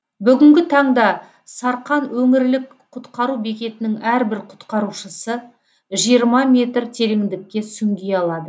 бүгінгі таңда сарқан өңірлік құтқару бекетінің әрбір құтқарушысы жиырма метр тереңдікке сүңги алады